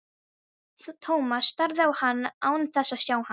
Thomas starði á hann án þess að sjá hann.